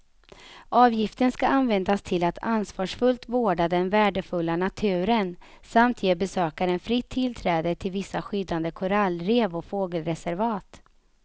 Avgiften ska användas till att ansvarsfullt vårda den värdefulla naturen samt ge besökaren fritt tillträde till vissa skyddade korallrev och fågelreservat.